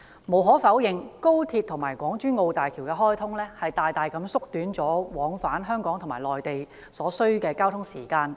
"無可否認，高鐵和港珠澳大橋的開通，大大縮短了往返香港與內地所需的交通時間。